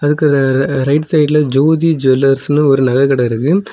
இதுக்கு ரைட் சைடுல ஜோதி ஜுவல்லர்ஸ்னு ஒரு நகெகட இருக்கு.